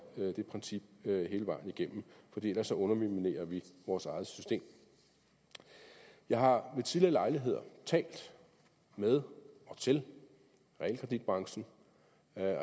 det princip hele vejen igennem for ellers underminerer vi vores eget system jeg har ved tidligere lejligheder talt med og til realkreditbranchen